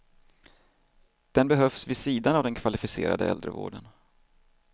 Den behövs vid sidan av den kvalificerade äldrevården.